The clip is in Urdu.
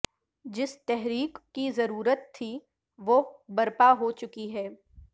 جس تحریک کی ضرورت تھی وہ برپا ہوچکی ہے